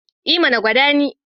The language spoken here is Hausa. E mana! gwada ni.